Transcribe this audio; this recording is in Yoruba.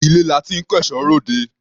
Ilé la ti ń kẹ́ṣọ̀ọ́ ròde.